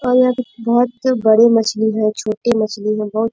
और यहाँ पे बहुत बड़ी मछली हैं छोटें मछली हैं। बहुत --